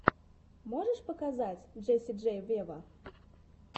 можешь показать джесси джей вево